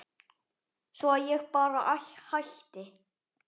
Svo að ég bara hætti.